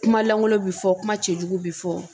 Kuma lankolon bi fɔ kuma cɛjugu bi fɔ.